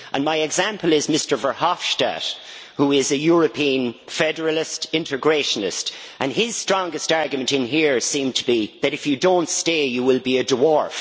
My example is Mr Verhofstadt, who is a European federalist integrationist, and his strongest argument in here seems to be that if you do not stay you will be a dwarf.